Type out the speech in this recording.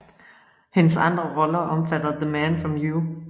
Hendes andre roller omfatter The Man from U